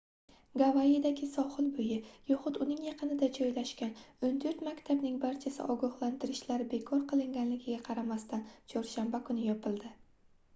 gavayidagi sohil boʻyi yoxud uning yaqinida joylashgan oʻn toʻrt maktabning barchasi ogohlantirishlar bekor qilinganligiga qaramasdan chorshanba kuni yopildi